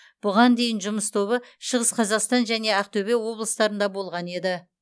бұған дейін жұмыс тобы шығыс қазақстан және ақтөбе облыстарында болған еді